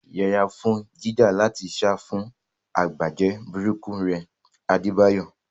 Yẹra fún jíjà láti sá fún àbájáde burúkú rẹ̀, Adebayo.